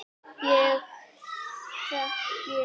Ég þekki